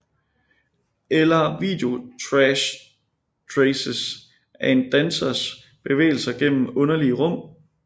Eller videotrashtraces af en dansers bevægelser gennem underlige rum